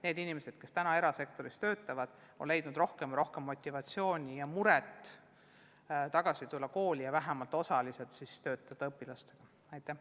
Need inimesed, kes täna erasektoris töötavad, on leidnud aina rohkem motivatsiooni tulla tagasi kooli ja töötada õpilastega vähemalt osalise tööajaga.